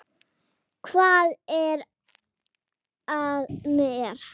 Hvað er að mér?